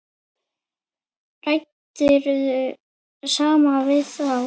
Ræddirðu samt við þá?